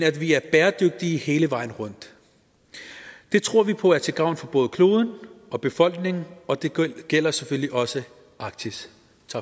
at vi er bæredygtige hele vejen rundt det tror vi på er til gavn for både kloden og befolkningen og det gælder selvfølgelig også arktis